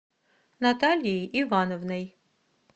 натальей ивановной